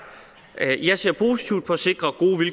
jeg ser positivt på at sikre